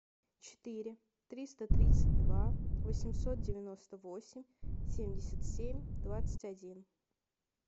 четыре триста тридцать два восемьсот девяносто восемь семьдесят семь двадцать один